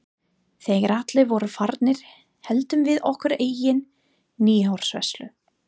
Þegar allir voru farnir héldum við okkar eigin nýársveislu.